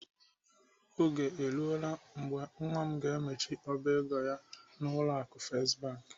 Oge eruola mgbe nwa m ga-emechi ọba ego ya n'ụlọ akụ First Bank.